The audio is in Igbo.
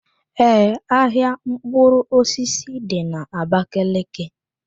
Ee, ahịa mkpụrụ osisi dị na Abakaliki.